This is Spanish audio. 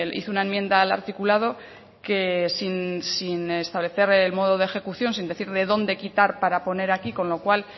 hizo una enmienda al articulado que sin establecer el modo de ejecución sin decir de dónde quitar para poner aquí con lo cual